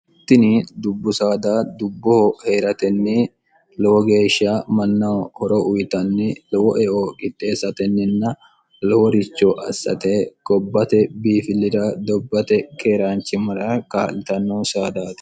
ittini dubbu saada dubboho hee'ratenni lowo geeshsha mannahu horo uyitanni lowo eo gidxeessatenninna looricho assate gobbate biifilira dobbate keeraanchi mara kaa'litannoho saadaate